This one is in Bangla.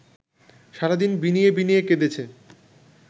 সারাদিন বিনিয়ে বিনিয়ে কেঁদেছে